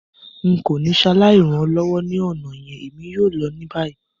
N ko ni saláì ran ọ lọwọ ni ọna yẹn, èmi yoo lọ ni bayi.